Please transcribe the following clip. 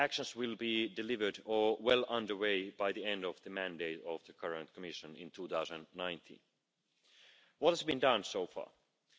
This is a step forward, but we must do more, and now that we are working on the legislative proposal from the Commission, I hope all this good work is taken into account.